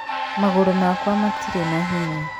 Magũrũ makwa matirĩ na hinya.